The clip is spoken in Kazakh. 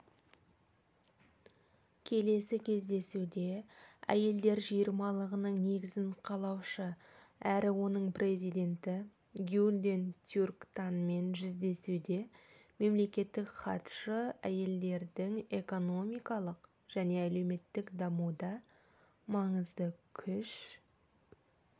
келесі кездесуде әйелдер жиырмалығының негізін қалаушы әрі оның президенті гюльден тюрктанмен жүздесуде мемлекеттік хатшы әйелдердің экономикалық және әлеуметтік дамуда маңызды күш